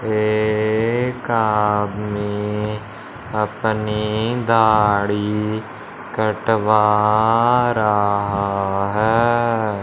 एक आदमी अपनी दाढ़ी कटवा रहा है।